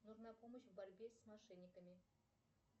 нужна помощь в борьбе с мошенниками